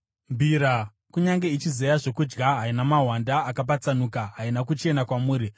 Mbira kunyange ichizeya zvokudya, haina mahwanda akapatsanuka, haina kuchena kwamuri.